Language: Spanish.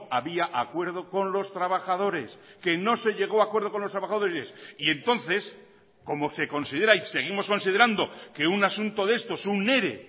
había acuerdo con los trabajadores que no se llegó a acuerdo con los trabajadores y entonces como se considera y seguimos considerando que un asunto de estos un ere